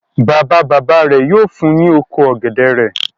Bàbá-bàbá rẹ̀ yóò fun ní oko ọ̀gẹ̀dẹ̀ rẹ̀.